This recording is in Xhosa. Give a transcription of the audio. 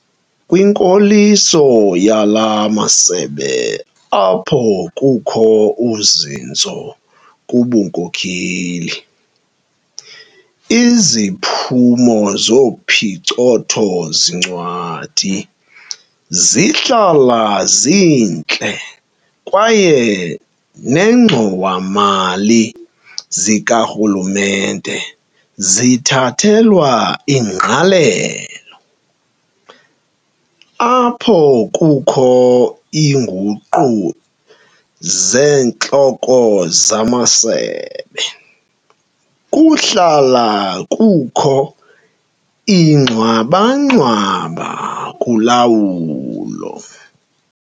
Kwinkoliso yala masebe apho kukho uzinzo kubunkokheli, iziphumo zophicotho-zincwadi zihlala zintle kwaye neengxowa-mali zikarhulumente zithathelwa ingqalelo. Apho kukho iinguqu zeentloko zamasebe, kuhlala kukho ingxwabangxwaba kula wulo.